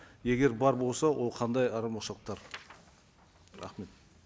егер бар болса ол қандай айырмашылықтар рахмет